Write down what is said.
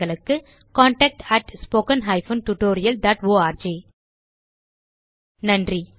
contact at spoken hyphen tutorial dot org நன்றி